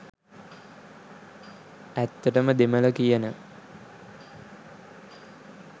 ඇත්තට දෙමළ කියන